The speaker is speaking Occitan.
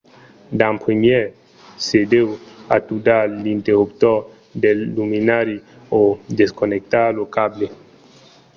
d'en primièr se deu atudar l’interruptor del luminari o desconnectar lo cable